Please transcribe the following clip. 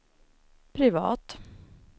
privat